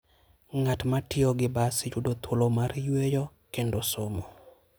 Ng'at ma tiyo gi bas yudo thuolo mar yueyo kendo somo.